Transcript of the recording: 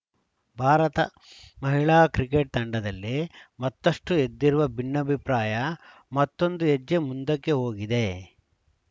ಭಾರತ ಮಹಿಳಾ ಕ್ರಿಕೆಟ್‌ ತಂಡದಲ್ಲಿ ಮತ್ತಷ್ಟುಎದ್ದಿರುವ ಭಿನ್ನಾಭಿಪ್ರಾಯ ಮತ್ತೊಂದು ಹೆಜ್ಜೆ ಮುಂದಕ್ಕೆ ಹೋಗಿದೆ